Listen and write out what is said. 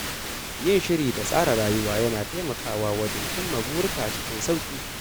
Yin shiri da tsara rayuwa yana taimakawa wajen cimma burika cikin sauƙi.